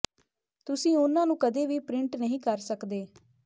ਤੁਸੀਂ ਉਹਨਾਂ ਨੂੰ ਕਦੇ ਵੀ ਪ੍ਰਿੰਟ ਨਹੀਂ ਕਰ ਸਕਦੇ